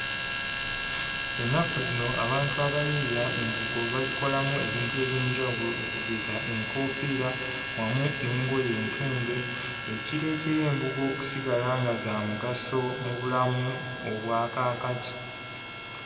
Ennaku zino abantu abayiiya embugo bazikolamu ebintu eby'enjawulo okugeza enkoofiira wamu n'engoye entunge, ekireetera embugo okusigala nga za mugaso mu bulamu obwa kaakati.